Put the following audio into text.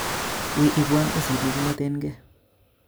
Wii ibwan usit nekimwetenke